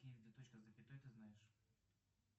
где точка с запятой ты знаешь